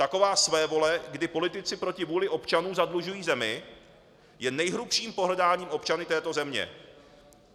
Taková svévole, kdy politici proti vůli občanů zadlužují zemi, je nejhrubším pohrdáním občany této země.